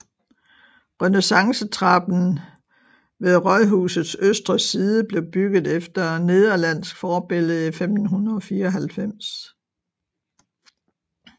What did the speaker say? Renaissancetrappen ved rådhusets østre side blev bygget efter nederlandsk forbillede i 1594